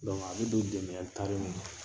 a bɛ don ma.